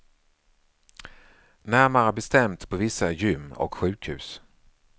Närmare bestämt på vissa gym och sjukhus.